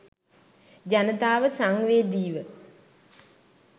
ජනතාව සංවේදීව